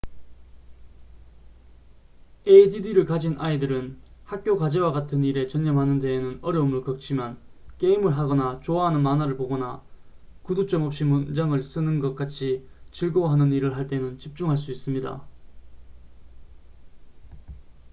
add를 가진 아이들은 학교 과제와 같은 일에 전념하는 데는 어려움을 겪지만 게임을 하거나 좋아하는 만화를 보거나 구두점 없이 문장을 쓰는 것 같이 즐거워하는 일을 할 때는 집중할 수 있습니다